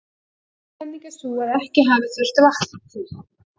Ein kenning er sú að ekki hafi þurft vatn til.